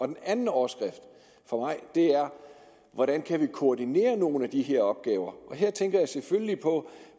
den anden overskrift hvordan kan vi koordinere nogle af de her opgaver her tænker jeg selvfølgelig på